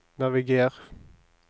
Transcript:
naviger